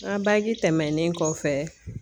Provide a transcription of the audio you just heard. N ga bagi tɛmɛnen kɔfɛ